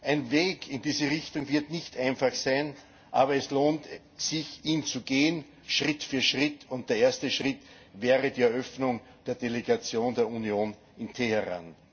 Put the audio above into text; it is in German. Ein Weg in diese Richtung wird nicht einfach sein, aber es lohnt sich, ihn zu gehen, Schritt für Schritt, und der erste Schritt wäre die Eröffnung der Delegation der Union in Teheran.